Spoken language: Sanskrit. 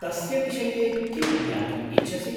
तस्य विषये किं ज्ञातुम् इच्छसि?